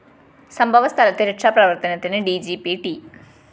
സംഭവസ്ഥലത്ത് രക്ഷാപ്രവര്‍ത്തനത്തിന് D G P ട്‌